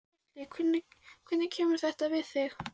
Gísli: Hvernig kemur þetta við þig?